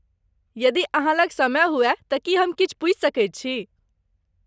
यदि अहाँ लग समय हुअय तँ की हम किछु पूछि सकैत छी?